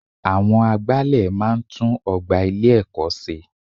Àwọn agbálẹ̀ máa n tún ogbà ilé ẹ̀kọ́ ṣe